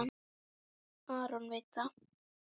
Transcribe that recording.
Aron veit það.